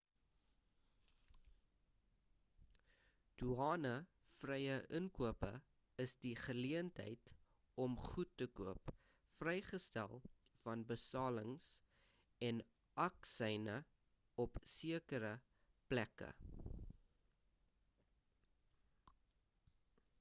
doane vrye inkope is die geleentheid om goed te koop vrygestel van belastings en aksyne op sekere plekke